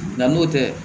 Nga n'o tɛ